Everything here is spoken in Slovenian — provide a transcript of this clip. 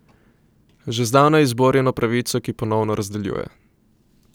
Že zdavnaj izborjeno pravico, ki ponovno razdeljuje.